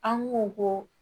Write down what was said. An ko ko